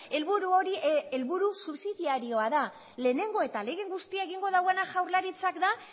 helburu hori helburu subsidiarioa da lehenengo eta ahalegin guztia egingo duena jaurlaritzak da